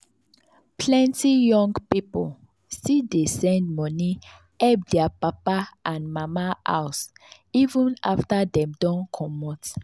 plenty young pipo still dey send money help their papa and mama house even after dem don comot.